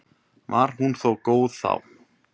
Var hún þó góð þá.